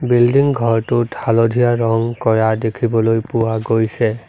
Building ঘৰটোত হালধীয়া ৰঙ কৰা দেখিবলৈ পোৱা গৈছে।